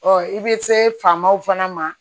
i bɛ se famaw fana ma